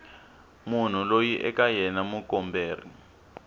munhu loyi eka yena mukomberi